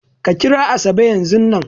Ka kira Asabe yanzun nan!